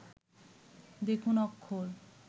দেখুন অক্ষর